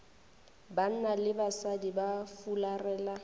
banna le basadi ba fularela